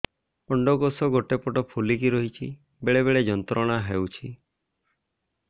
ଅଣ୍ଡକୋଷ ଗୋଟେ ପଟ ଫୁଲିକି ରହଛି ବେଳେ ବେଳେ ଯନ୍ତ୍ରଣା ହେଉଛି